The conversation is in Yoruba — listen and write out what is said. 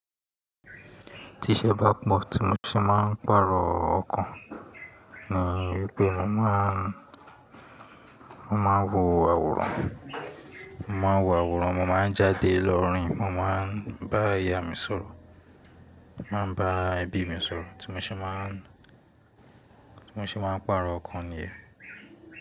Tí ṣẹ́ bá pọ̀ tí mo ṣe máa ń pàrọ̀ ọkàn ni wípé mo máa ń, mo máa wo àwòrán, mo máa wo àwòrán, mo máa ń jáde lọ rìn, mo máa bá ìyá mi sọ̀rọ̀, màá bá ẹbí mi sọ̀rọ̀ tí mo ṣe máà, tí mo ṣe máa ń pàrọ̀ ọkàn nìyẹn.